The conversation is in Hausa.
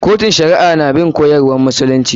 Kotun shari'a na bin koyarwan musulunci.